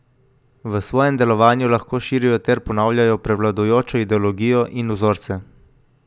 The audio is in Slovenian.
V svojem delovanju lahko širijo ter ponavljajo prevladujočo ideologijo in vzorce.